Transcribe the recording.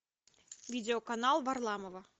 видео канал варламова